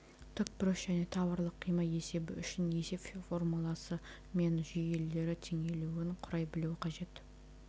тікбұрыш және таврлық қима есебі үшін есеп формуласы мен жүйелері теңелуін құрай білуі қажет